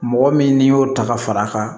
Mɔgɔ min n'i y'o ta ka fara a kan